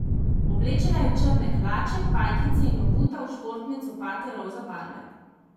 Oblečena je v črne hlače pajkice in obuta v športne copate roza barve.